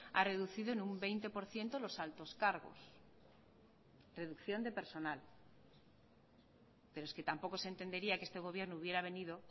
ha reducido en un veinte por ciento los altos cargos reducción de personal pero es que tampoco se entendería que este gobierno hubiera venido